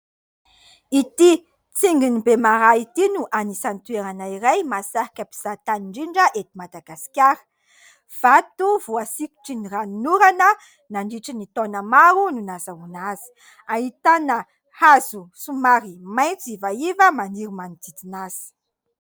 Ity tsingy ny Bemaraha ity no anisan'ny toerana iray mahasarika mpizahatany indrindra eto Madagasikara. Vato voasikotry ny ranon'orana nandritry ny taona maro no nahazoana azy. Ahitana hazo somary maitso ivaiva maniry manodidina azy.